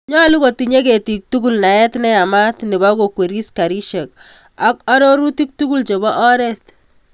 Nyolu kotinyei ketiik tugul naet ne yamat nebo kokweri garisyek ako arorutiiktugul chebo oret.